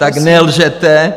Tak nelžete!